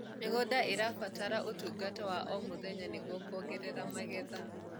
mĩgũnda irabatara utungata wa o mũthenya nĩguo kuongerera magetha